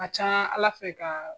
A ka can Ala fɛ ka